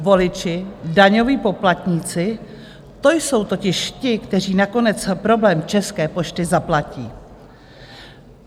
Voliči, daňoví poplatníci, to jsou totiž ti, kteří nakonec problém České pošty zaplatí.